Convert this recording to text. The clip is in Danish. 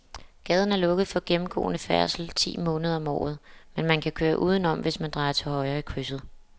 Gaden er lukket for gennemgående færdsel ti måneder om året, men man kan køre udenom, hvis man drejer til højre i krydset.